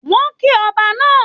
Wọn kí Ọba náà.